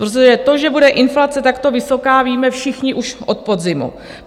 Protože to, že bude inflace takto vysoká, víme všichni už od podzimu.